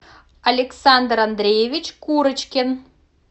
александр андреевич курочкин